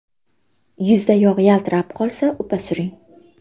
Yuzda yog‘ yaltirab qolsa, upa suring.